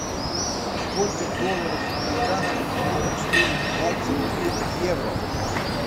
сколько долларов американских будет стоить двадцать две евро